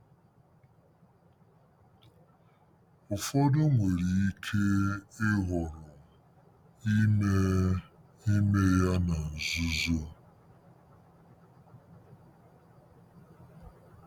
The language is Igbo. Ụfọdụ nwere ike ịhọrọ ime ime ya na nzuzo.